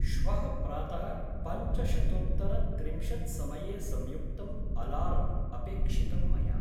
श्वः प्रातः पञ्चशतोत्तरत्रिंशत्समये संयुक्तम् अलार्म् अपेक्षितं मया।